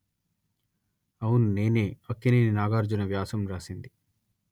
అవును నేనే అక్కినేని నాగార్జున వ్యాసం రాసింది